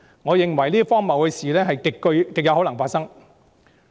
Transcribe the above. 我認為這些荒謬的事極有可能發生。